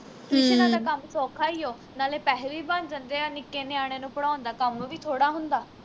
ਟੁਸ਼ਨਾਂ ਦਾ ਕੰਮ ਸੌਖਾ ਈ ਓ ਨਾਲੇ ਪੈਹੇ ਵੀ ਬਣ ਜਾਂਦੇ ਆ ਨਿੱਕੇ ਨਿਆਣਿਆਂ ਨੂੰ ਪੜਾਉਣ ਦਾ ਕੰਮ ਵੀ ਥੋੜਾ ਹੁੰਦਾ